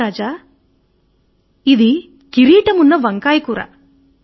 మహా రాజా ఇది కిరీటమున్న వంకాయ కూర